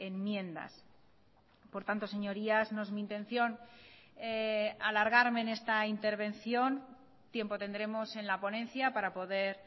enmiendas por tanto señorías no es mi intención alargarme en esta intervención tiempo tendremos en la ponencia para poder